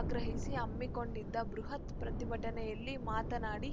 ಅಗ್ರಹಿಸಿ ಹಮ್ಮಿಕೊಂಡಿದ್ದ ಬೃಹತ್‌ ಪ್ರತಿಭಟನೆಯಲ್ಲಿ ಮಾತನಾಡಿ